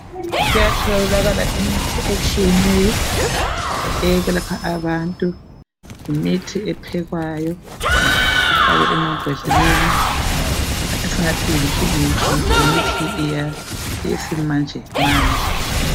Kuyatholakala imithi etshiyeneyo, eyokwekapha abantu. Yimithi ephekwayo. Ifakwe embodleleni. Esingathi yimithi yesimanjemanje.